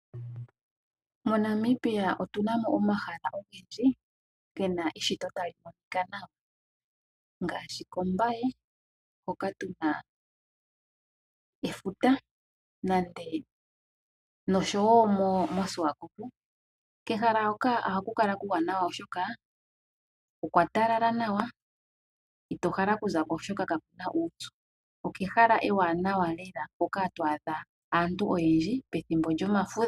MoNamibia otuna mo omahala ogendji gena eshito tali monika nawa. Ngaashi koMbaye hoka tuna efuta. Noshowo moShiwakop. Kehala hoka ohaku kala kuuwanawa oshoka okwa talala nawa. Ito hala oku zako oshoka kakuna uupyu. Okehala ewanawa lela hoka hatu adha aantu oyendji pethimbo lyomafudho.